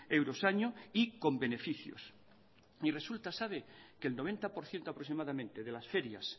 euros año y con beneficios y resulta sabe que el noventa por ciento aproximadamente de las ferias